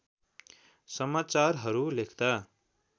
समाचारहरू लेख्दा